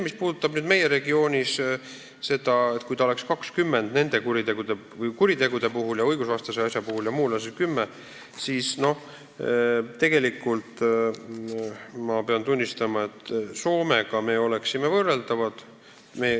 Mis puudutab nüüd seda, kui see tähtaeg oleks kuritegude ja üldse õigusvastaste tegude puhul 20 aastat ja muul juhul kümme aastat, siis ma pean tunnistama, et Soomega me oleksime võrreldavad.